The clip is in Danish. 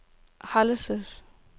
Hjallelse